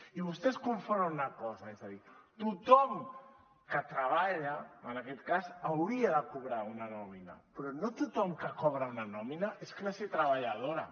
i vostès confonen una cosa és a dir tothom que treballa en aquest cas hauria de cobrar una nòmina però no tothom que cobra una nòmina és classe treballadora